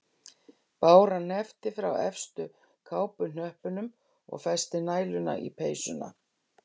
Bára hneppti frá efstu kápuhnöppunum og festi næluna í peysuna.